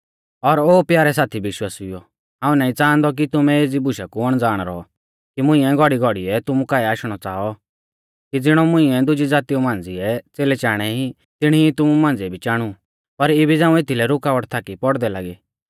और ओ प्यारै साथी विश्वासिउओ हाऊं नाईं च़ाहांदौ कि तुमै एज़ी बुशा कु अणज़ाण रौऔ कि मुंइऐ घौड़ीघौड़ीऐ तुमु काऐ आशणौ च़ाऔ कि ज़िणौ मुंइऐ दुजी ज़ातीऊ मांझ़िऐ च़ेलै चाणै ई तिणी ई तुमु मांझ़िऐ भी चाणु पर इबी झ़ांऊ एथदी रुकावट थाकी पौड़दै लागी